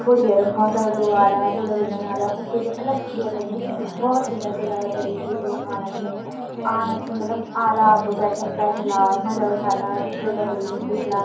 थोड़ी देर म भोत सारा लोग आला दूल्हा दुल्हन आला उन्खुं भी अलग से चेयर लगीं भोत सुन्दर सजावट करीं च लोग आणा छिन आणा छिन मतलब आला ब-ब-बैठला मजा उठाला ब्योला ब्योली थे दिखला।